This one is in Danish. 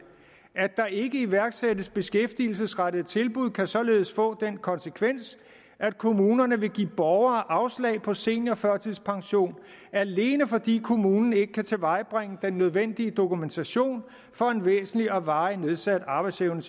at der ikke iværksættes beskæftigelsesfremmende tilbud kan således få den konsekvens at kommunerne vil give borgere afslag på seniorførtidspension alene fordi kommunen ikke kan tilvejebringe den nødvendige dokumentation for en væsentlig og varig nedsat arbejdsevne